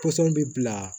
Pɔsɔn bɛ bila